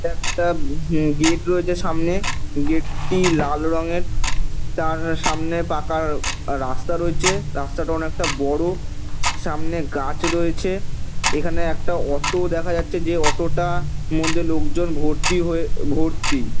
এখানে একটা হু গেট রয়েছে সামনে। গেটটি লাল রঙের। তার সামনে পাকা রাস্তা রয়েছে। রাস্তাটা অনেকটা বড়ো। সামনে গাছ রয়েছে। এখানে একটা অটো দেখা যাচ্ছে। যে অটোটা মধ্যে লোকজন ভর্তি হয়ে ভর্তি।